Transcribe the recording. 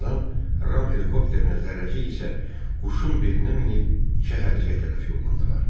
Birazdan Ram helikopterinə, zərrəcik isə quşun belinə minib şəhərciyə tərəf yollandılar.